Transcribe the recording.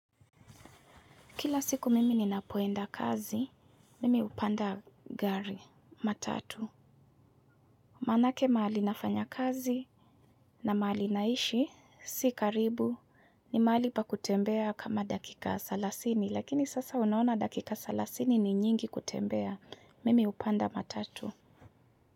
Kila siku mimi ninapoenda kazi, mimi hupanda gari, matatu. Maana ake mahali nafanya kazi na mahali naishi, si karibu, ni mahali pa kutembea kama dakika salasini, lakini sasa unaona dakika salasini ni nyingi kutembea, mimi hupanda matatu.